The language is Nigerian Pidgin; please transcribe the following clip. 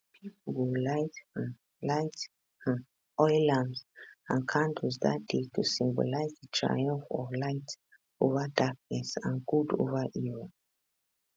pipo go light um light um oil lamps and candles dat day to symbolise di triumph of light ova darkness and good ova evil